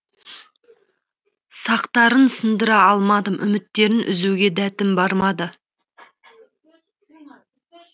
сақтарын сындыра алмадым үміттерін үзуге дәтім бармады